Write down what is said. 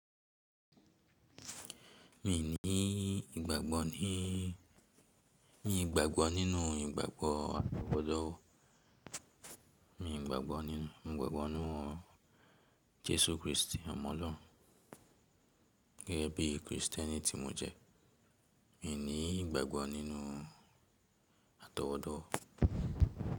Mi ní ìgbàgbọ́ ní mii gbagbo ninú ìgbàgbọ́ àtọwọ́dowo mii gbagbo ni, mo gbàgbọ́ nínú Jesu Kristi ọmọ lọrun gẹ́gẹ́ bí Kristiẹ́nì tí mo jẹ́. Mi ní ìgbàgbọ́ nínú àtọwọ́dowo.